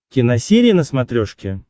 киносерия на смотрешке